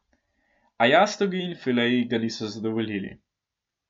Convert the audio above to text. A jastogi in fileji ga niso zadovoljili.